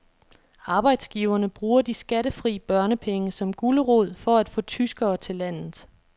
Arbejdsgiverne bruger de skattefri børnepenge som gulerod for at få tyskere til landet.